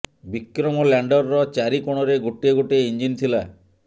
ବିକ୍ରମ ଲ୍ୟାଣ୍ଡରର ଚାରି କୋଣରେ ଗୋଟିଏ ଗୋଟିଏ ଇଞ୍ଜିନ ଥିଲା